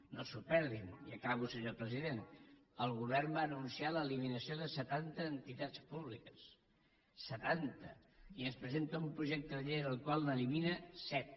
no s’ho perdin i acabo senyor president el govern va anunciar l’eliminació de setanta entitats públiques setanta i ens presenta un projecte de llei en el qual n’elimina set